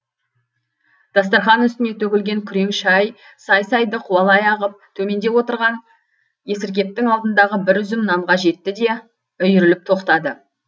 дастарқан үстіне төгілген күрең шай сай сайды қуалай ағып төменде отырған есіркептің алдындағы бір үзім нанға жетті де үйіріліп тоқтады